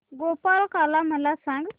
गोपाळकाला मला सांग